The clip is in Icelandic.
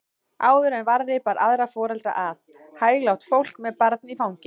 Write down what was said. Áður en varði bar aðra foreldra að, hæglátt fólk með barn í fanginu.